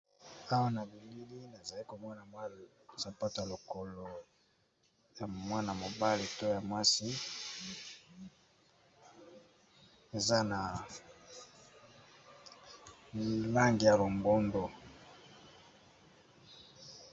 Awa na bilili nazali komona mwa sampato lokolo ya mwana mobale to ya mwasi eza na lange ya longondo.